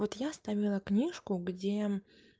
вот я ставила книжку где